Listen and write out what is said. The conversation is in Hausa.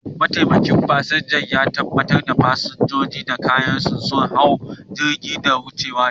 Mataimakin fasinja ya tabbatar da fasinjojin da kayansu sun hau jirgin da ya dace.